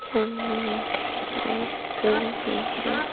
सामने में कई सारे स्टॉल भी हैं।